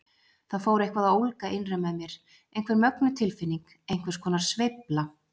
Það fór eitthvað að ólga innra með mér, einhver mögnuð tilfinning, einhvers konar sveifla.